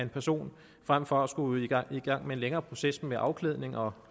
person frem for at skulle i gang gang med en længere proces med afklædning og